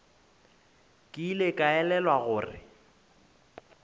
ke ile ka elelwa gore